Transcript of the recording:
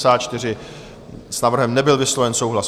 S návrhem nebyl vysloven souhlas.